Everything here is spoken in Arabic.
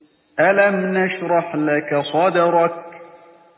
أَلَمْ نَشْرَحْ لَكَ صَدْرَكَ